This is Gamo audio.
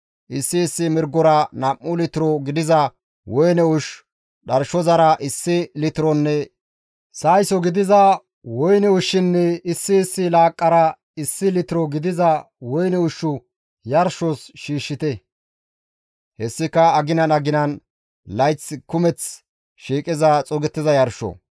Issi issi mirgora nam7u litiro gidiza woyne ushshu, dharshozara issi litironne sayso gidiza woyne ushshunne issi issi laaqqara issi litiro gidiza woyne ushshu yarshos shiishshite; hessika aginan aginan layth kumeth shiiqiza xuugettiza yarsho.